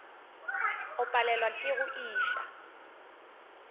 o palelwa ke go iša